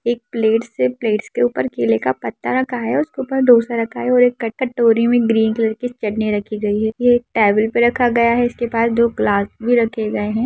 एक प्लेटस है। प्लेटस के उपर केले का पत्ता रखा है। उसके उपर ढोसा रखा है और एक क-कटोरी है ग्रीन कलर की चटनी रखी गई है ये एक टेबल पे रखा गया है इसके पास दो ग्लास भी रखे गए है।